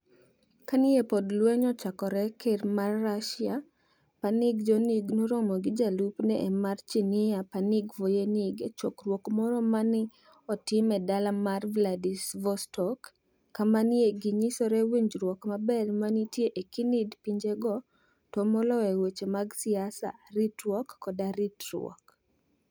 Kani e pok lweniy ochakore, ker mar Russia, Panig Jonig, noromo gi jalupni e mar Chinia, Panig Voyenig, e chokruok moro ma ni e otim e dala mar Vladivostok, kama ni e giniyisoe winijruok maber manitie e kinid pinijego, to moloyo e weche mag siasa, ritruok, koda ritruok.